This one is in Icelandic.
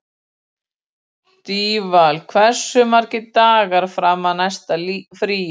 Daníval, hversu margir dagar fram að næsta fríi?